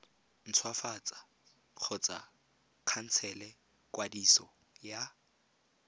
ntshwafatsa kgotsa khansela kwadiso ya